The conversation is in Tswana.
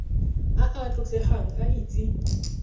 a a tlotlegang a itse